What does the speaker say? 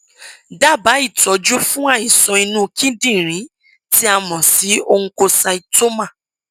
dábàá ìtọjú fún àìsàn inú kíndìnrín tí a mọ sí oncocytoma